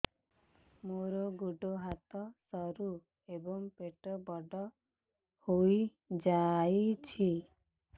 ମୋର ଗୋଡ ହାତ ସରୁ ଏବଂ ପେଟ ବଡ଼ ହୋଇଯାଇଛି